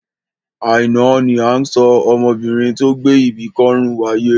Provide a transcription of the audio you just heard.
Àìná ni à ń sọ ọmọbinrin tó gbé ibi kọ́rùn wáyé.